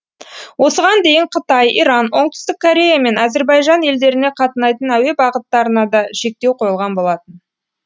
осыған дейін қытай иран оңтүстік корея мен әзірбайжан елдеріне қатынайтын әуе бағыттарына да шектеу қойылған болатын